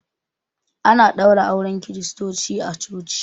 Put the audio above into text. Ana ɗaura auren kiristoci a coci